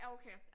Ja okay